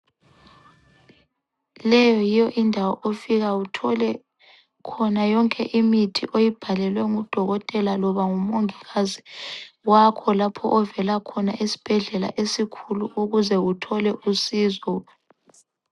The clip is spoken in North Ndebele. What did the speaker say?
Leyo yiyo indawo ofika uthole khona yonke imithi oyibhalelwe ngudokotela loba ngumongikazi wakho lapho ovela khona esibhedlela esikhulu ukuze uthole usizo.